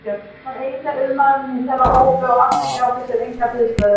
Hann var eini auðmaðurinn í þeirra hópi og atvikið átti sér enga hliðstæðu.